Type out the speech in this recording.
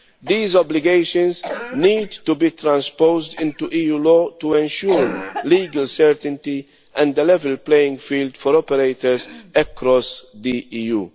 These obligations need to be transposed into EU law to ensure legal certainty and a level playing field for operators across the EU.